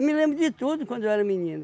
Me lembro de tudo de quando eu era menino.